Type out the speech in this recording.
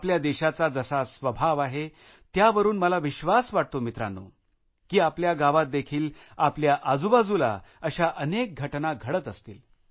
आपल्या देशाचा जसा स्वभाव आहे त्यावरुन मला विश्वास वाटतो मित्रांनो की आपल्या गावात देखील आपल्या आजूबाजूला अशा अनेक घटना घडत असतील